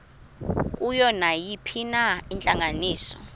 kuyo nayiphina intlanganiso